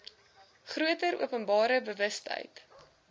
groter openbare bewustheid